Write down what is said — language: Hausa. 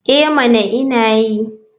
Eh mana ina yi.